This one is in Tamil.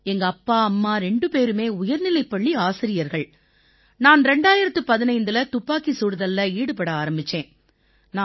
எங்கப்பா அம்மா ரெண்டு பேருமே உயர்நிலைப்பள்ளி ஆசிரியர்கள் நான் 2015இல துப்பாக்கிச் சுடுதல்ல ஈடுபட ஆரம்பிச்சேன்